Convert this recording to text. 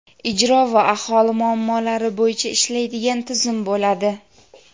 ijro va aholi muammolari bo‘yicha ishlaydigan tizim bo‘ladi.